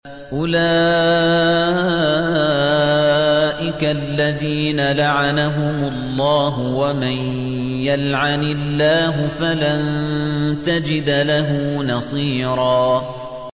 أُولَٰئِكَ الَّذِينَ لَعَنَهُمُ اللَّهُ ۖ وَمَن يَلْعَنِ اللَّهُ فَلَن تَجِدَ لَهُ نَصِيرًا